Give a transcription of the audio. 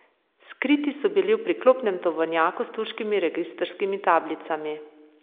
Skriti so bili v priklopnem tovornjaku s turškimi registrskimi tablicami.